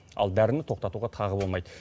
ал дәріні тоқтатуға тағы болмайды